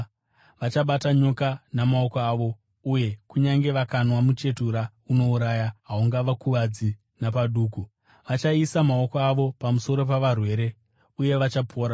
vachabata nyoka namaoko avo, uye kunyange vakanwa muchetura unouraya haungavakuvadzi napaduku; vachaisa maoko avo pamusoro pavarwere, uye vachapora.”